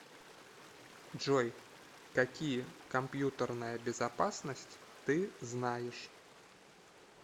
джой какие компьютерная безопасность ты знаешь